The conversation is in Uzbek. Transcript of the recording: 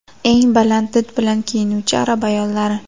Eng baland did bilan kiyinuvchi arab ayollari .